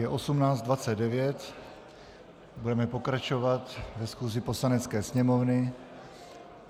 Je 18.29, budeme pokračovat ve schůzi Poslanecké sněmovny.